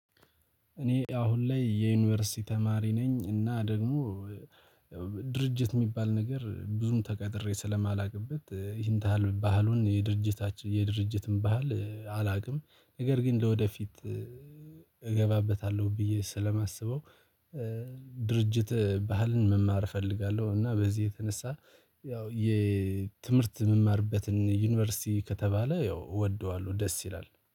እኔ አሁን ላይ የዩኒቨርሲቲ ተማሪ ነኝ። እና ደግሞ ድርጅት የሚባል ነገር ብዙም ተቀጥሬ ስለማላውቅበት ይህን ታህል ባህሉን የድርጅታችን የድርጅትን ባህል አላውቅም። ነገር ግን ወደፊት እገባበታለሁ ብዬ ስለማስበው ድርጅት ባህልን መማር እፈልጋለሁ። እና በዚህ የተነሳ ያው የትምህርት የምማርበትን ዩኒቨርሲቲ ከተባለ ያው እወደዋለሁ። ደስ ይላል።